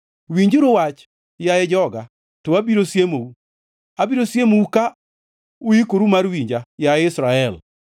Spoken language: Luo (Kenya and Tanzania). “Winjuru wach, yaye joga, to abiro siemou, abiro siemou ka uikoru mar winja, yaye Israel.